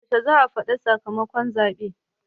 Yaushe za a faɗi sakamakon zaɓe?